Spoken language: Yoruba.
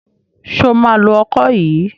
Ṣo máa lo ọkọ yìí?